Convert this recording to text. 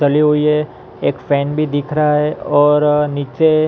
चली हुई हैं एक फैन भी दिख रहा हैंऔर नीचे --